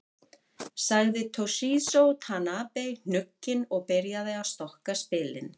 Sagði Toshizo Tanabe hnugginn og byrjaði að stokka spilin.